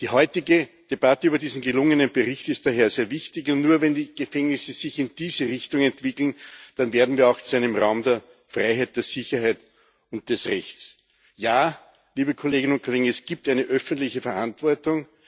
Die heutige Debatte über diesen gelungenen Bericht ist daher sehr wichtig, und nur wenn die Gefängnisse sich in diese Richtung entwickeln, werden wir auch zu einem Raum der Freiheit, der Sicherheit und des Rechts. Ja, liebe Kolleginnen und Kollegen, es gibt eine öffentliche Verantwortung.